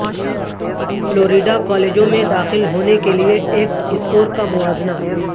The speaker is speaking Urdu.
فلوریڈا کالجوں میں داخل ہونے کے لئے ایکٹ اسکور کا موازنہ